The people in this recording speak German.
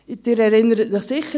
Sie erinnern sich sicher.